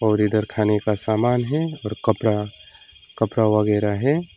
और इधर खाने का समान है और कपड़ा कपड़ा वगैरह है।